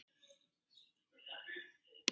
Þangað eigi hún ekkert erindi.